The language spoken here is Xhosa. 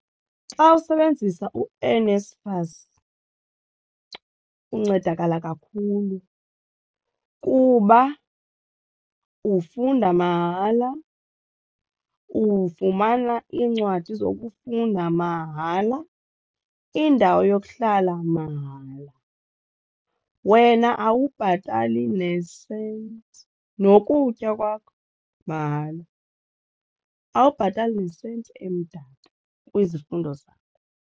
Xa usebenzisa uNSFAS uncedakala kakhulu kuba ufunda mahala, ufumana iincwadi zokufunda mahala, indawo yokuhlala mahala, wena awubhatali nesenti nokutya kwakho mahala awubhatali nesenti emdaka kwizifundo zakho.